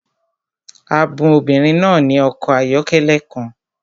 A bun obìnrin náà ní ọkọ̀ ayọ́kẹ́lẹ́ kan